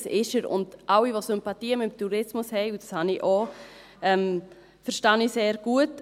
Das ist er, und alle, die Sympathien für den Tourismus haben – und das habe ich auch –, verstehe ich sehr gut.